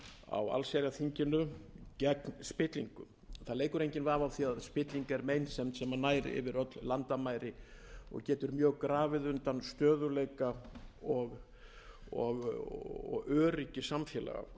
á allsherjarþinginu gegn spillingu það leikur enginn vafi á því að spilling er meinsemd sem nær yfir öll landamæri og getur mjög grafið undan stöðugleika og öryggi samfélaga